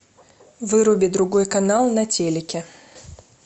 выруби другой канал на телике